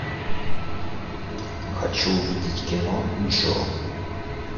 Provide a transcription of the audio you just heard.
хочу увидеть кино джо